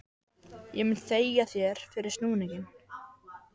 Ég mun þægja þér fyrir snúninginn